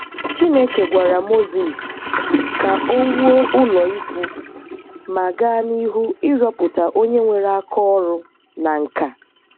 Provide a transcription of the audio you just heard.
Chineke gwara Mozis ka o wuo ụlọikwuu ma gaa n'ihu iriọpụta onye nwere aka-ọrụ na nkà